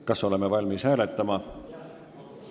Kas oleme valmis hääletama?